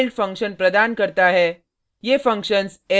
Perl कुछ inbuilt function प्रदान करता है